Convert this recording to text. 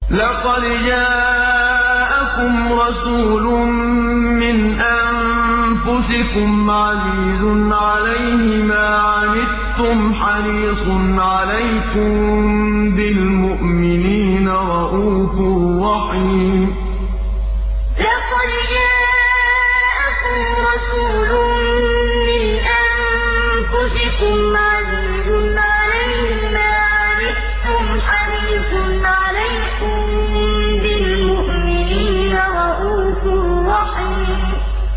لَقَدْ جَاءَكُمْ رَسُولٌ مِّنْ أَنفُسِكُمْ عَزِيزٌ عَلَيْهِ مَا عَنِتُّمْ حَرِيصٌ عَلَيْكُم بِالْمُؤْمِنِينَ رَءُوفٌ رَّحِيمٌ لَقَدْ جَاءَكُمْ رَسُولٌ مِّنْ أَنفُسِكُمْ عَزِيزٌ عَلَيْهِ مَا عَنِتُّمْ حَرِيصٌ عَلَيْكُم بِالْمُؤْمِنِينَ رَءُوفٌ رَّحِيمٌ